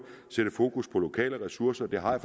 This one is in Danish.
sætte fokus på lokale ressourcer det har jeg